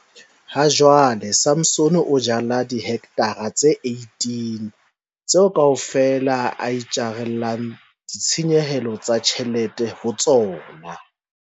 Hajwale Samson o jala dihekthara tse 18, tseo kaofela a itjarelang ditshenyehelo tsa ditjhelete ho tsona.